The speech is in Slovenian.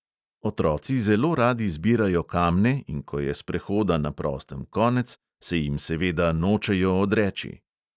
Otroci zelo radi zbirajo kamne, in ko je sprehoda na prostem konec, se jim seveda nočejo odreči.